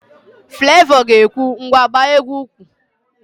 Flevọ ga-ekwu, ngwa gbaa égwú úkwù